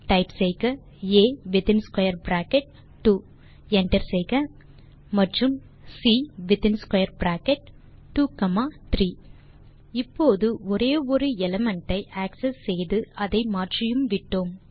type செய்க a within square bracket 2 enter செய்க மற்றும் c within square bracket 2 comma 3 இப்போது ஒரே ஒரு எலிமெண்ட் ஐ ஆக்செஸ் செய்து அதை மாற்றியும் விட்டோம்